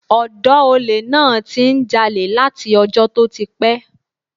Ọ̀dọ́ olè náà ti ń jalè láti ọjọ́ tó ti pẹ́.